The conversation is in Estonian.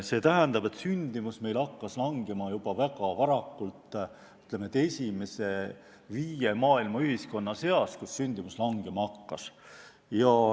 See tähendab, et sündimus hakkas meil vähenema juba väga ammu – me olime maailmas esimese viie ühiskonna seas, kus sündimus vähenema hakkas.